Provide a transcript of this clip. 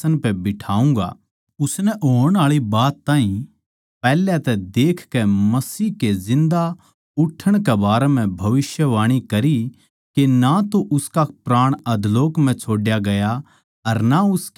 उसनै होण आळी बात ताहीं पैहल्याए तै देखकै मसीह के जिन्दा उठण कै बारै म्ह भविष्यवाणी करी के ना तो उसका प्राण अधोलोक म्ह छोड्या गया अर ना उसकी देह सड़न पाई